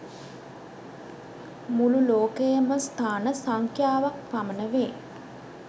මුළු ලෝකයේම ස්ථාන සංඛ්‍යාව ක් පමණ වේ